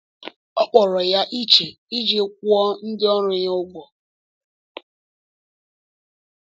Ọ kpọrọ ya iche iji kwụọ ndị ọrụ ya ụgwọ.